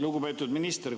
Lugupeetud minister!